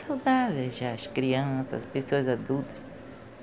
saudáveis já, as crianças, as pessoas adultas.